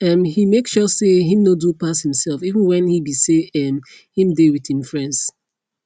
um he make sure say him no do pass himself even when he be say um him dey with him friends